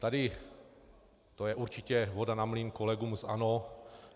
Tady to je určitě voda na mlýn kolegům z ANO.